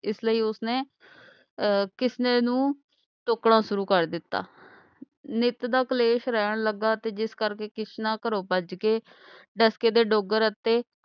ਇਸ ਲਈ ਉਸਨੇ ਅਹ ਕਿਸਨੇ ਨੂੰ ਟੋਕਣਾ ਸ਼ੁਰੂ ਕਰ ਦਿਤਾ ਨਿਤ ਦਾ ਕਲੇਸ਼ ਰਹਿਣ ਲਗਾ ਤੇ ਜਿਸ ਕਰਕੇ ਕਿਸਨਾ ਘਰੋਂ ਭੱਜ ਕੇ ਡਸਕੇ ਤੇ ਡੋਗਰ ਅਤੇ